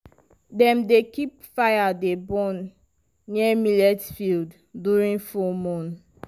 dem dey keep fire dey burn near millet fields during full moon.